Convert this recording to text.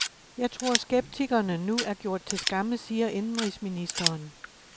Jeg tror, skeptikerne nu er gjort til skamme, siger indenrigsministeren.